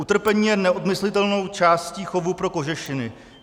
Utrpení je neodmyslitelnou částí chovu pro kožešiny.